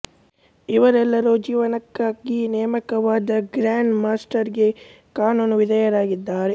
ಇವರೆಲ್ಲರೂ ಜೀವನಕ್ಕಾಗಿ ನೇಮಕವಾದ ಗ್ರ್ಯಾಂಡ್ ಮಾಸ್ಟರ್ ಗೆ ಕಾನೂನು ವಿಧೇಯರಾಗಿದ್ದರು